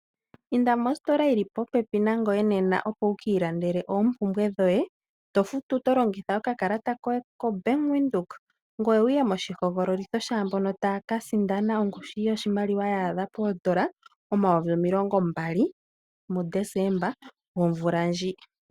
Inda mostola yili popepi nangoye nena opo wukiilandele oompumbwe dhoye, to futu to longitha okakalata koye koBank Windhoek, ngoye wuye moshihogololitho shaambono taa ka sindana ongushu yoshimaliwa yaadha poondola omayovi omilongo mbali muDesemba omvula ndji.